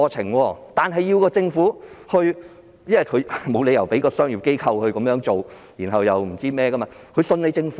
不過，此事必須由政府促成，因為沒有理由要求商業機構承擔，而他們亦只相信政府。